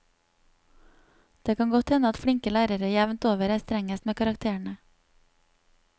Det kan godt hende at flinke lærere jevnt over er strengest med karakterene.